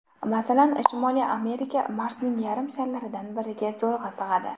Masalan, Shimoliy Amerika Marsning yarim sharlaridan biriga zo‘rg‘a sig‘adi.